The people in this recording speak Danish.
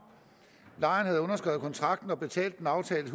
lejeren havde underskrevet kontrakten og betalt den aftalte